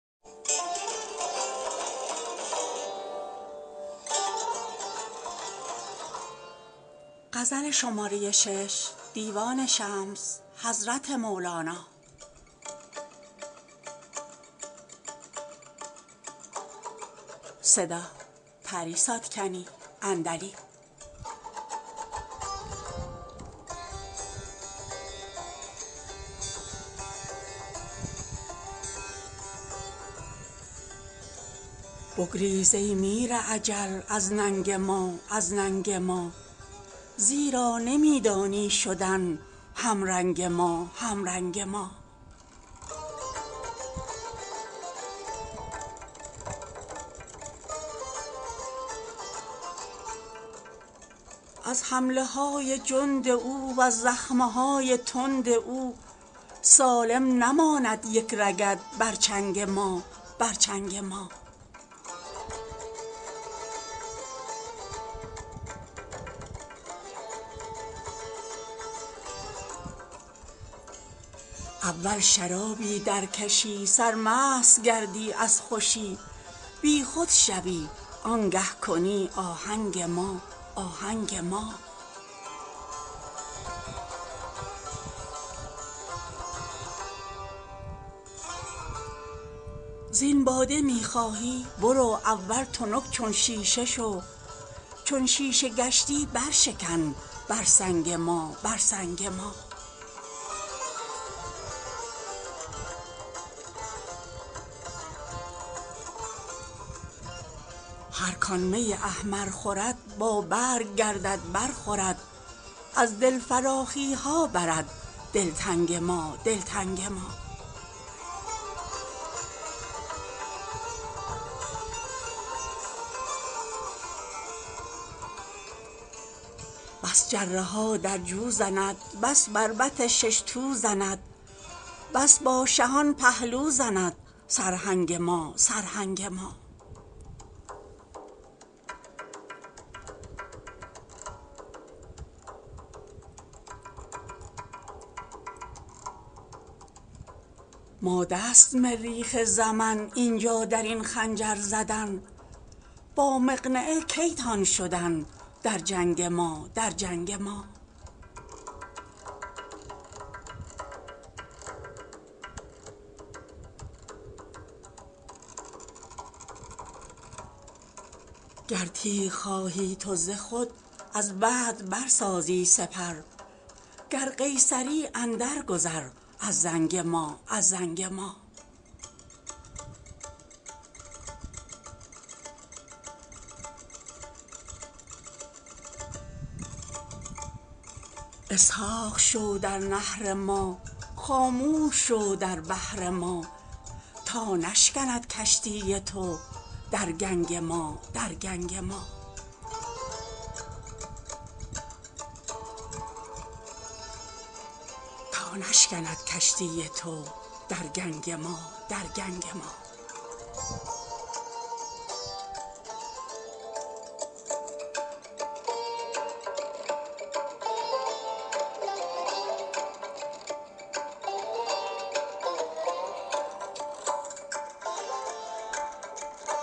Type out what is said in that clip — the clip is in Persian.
بگریز ای میر اجل از ننگ ما از ننگ ما زیرا نمی دانی شدن همرنگ ما همرنگ ما از حمله های جند او وز زخم های تند او سالم نماند یک رگت بر چنگ ما بر چنگ ما اول شرابی درکشی سرمست گردی از خوشی بیخود شوی آنگه کنی آهنگ ما آهنگ ما زین باده می خواهی برو اول تنک چون شیشه شو چون شیشه گشتی برشکن بر سنگ ما بر سنگ ما هر کان می احمر خورد بابرگ گردد برخورد از دل فراخی ها برد دلتنگ ما دلتنگ ما بس جره ها در جو زند بس بربط شش تو زند بس با شهان پهلو زند سرهنگ ما سرهنگ ما ماده است مریخ زمن این جا در این خنجر زدن با مقنعه کی تان شدن در جنگ ما در جنگ ما گر تیغ خواهی تو ز خور از بدر برسازی سپر گر قیصری اندرگذر از زنگ ما از زنگ ما اسحاق شو در نحر ما خاموش شو در بحر ما تا نشکند کشتی تو در گنگ ما در گنگ ما